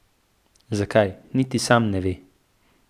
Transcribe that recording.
Zakaj, niti sam ne ve.